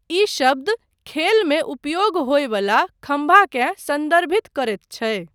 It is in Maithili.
ई शब्द खेलमे उपयोग होयवला खम्भाकेँ सन्दर्भित करैत छै।